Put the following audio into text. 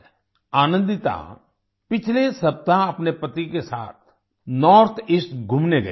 आनंदिता पिछले सप्ताह अपने पति के साथ नॉर्थ ईस्ट घूमने गई थीं